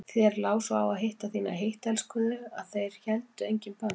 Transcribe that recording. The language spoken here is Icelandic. Þér lá svo á að hitta þína heittelskuðu að þér héldu engin bönd.